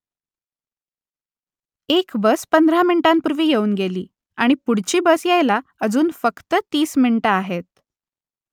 एक बस पंधरा मिनिटांपूर्वी येऊन गेली आणि पुढची बस यायला अजून फक्त तीस मिनिटं आहेत